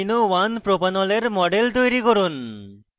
3amino1propanol এর model তৈরি করুন